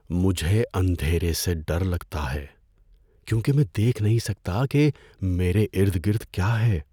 مجھے اندھیرے سے ڈر لگتا ہے کیونکہ میں دیکھ نہیں سکتا کہ میرے ارد گرد کیا ہے۔